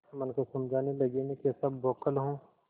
मन को समझाने लगेमैं कैसा बौखल हूँ